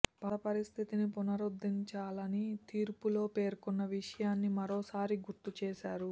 పాత పరిస్థితిని పునరుద్ధరించాలని తీర్పులో పేర్కొన్న విషయాన్ని మరోసారి గుర్తు చేశారు